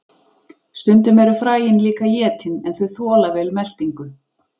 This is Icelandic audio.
Stundum eru fræin líka étin en þau þola vel meltingu.